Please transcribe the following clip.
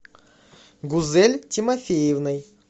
гузель тимофеевной